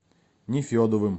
нефедовым